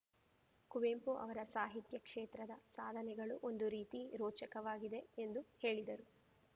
ಕುವೆಂಪು ಅವರ ಸಾಹಿತ್ಯ ಕ್ಷೇತ್ರದ ಸಾಧನೆಗಳು ಒಂದು ರೀತಿ ರೋಚಕವಾಗಿವೆ ಎಂದು ಹೇಳಿದರು